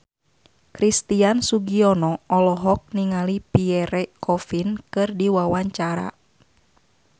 Christian Sugiono olohok ningali Pierre Coffin keur diwawancara